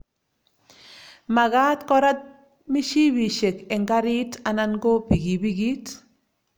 magaat korat mishiibikishek eng karit anan ko bikibikit